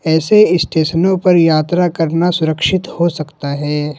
ऐसे स्टेशनों पर यात्रा करना सुरक्षित हो सकता है।